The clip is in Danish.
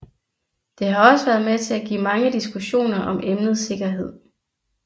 Det har også været med til at give mange diskussioner om emnet sikkerhed